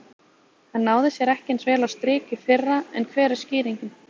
Hann náði sér ekki eins vel á strik í fyrra en hver er skýringin?